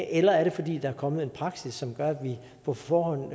eller er det fordi der er kommet en praksis som gør at vi på forhånd